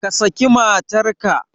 Ka saki matarka!